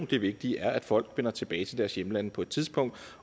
det vigtige er at folk vender tilbage til deres hjemlande på et tidspunkt